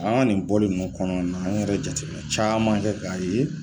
An nin bɔlen ninnu kɔnɔ an yɛrɛ jateminɛ caman kɛ k'a ye.